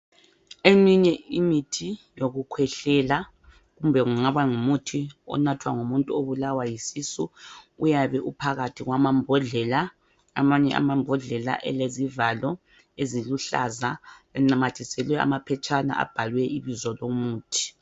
Eminye imithi yokukhwehlela kumbe kungaba ngumuthi onathwa ngumuntu obulawa yisisu uyabe uphakathi kwamambodlela amanye amambodlela elezivalo eziluhlaza enamathiselwe amaphetshana abhalwe ibizo lomuthi.